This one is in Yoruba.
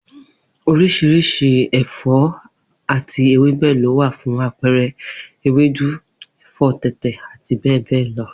Oriṣiriṣi ẹfọ ati ewebẹ lo wa fun apẹẹrẹ ewedu, ẹfọ tẹtẹ ati bẹbẹ lọ